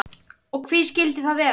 Og hví skildi það vera?